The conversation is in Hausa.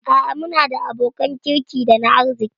A'a muna da abokan kirki dana arziki